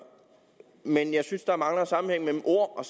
men jeg synes at der mangler sammenhæng mellem ord og